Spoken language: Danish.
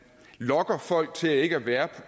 lokker folk til ikke at være